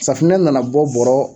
Safunɛ nana bɔ bɔrɔ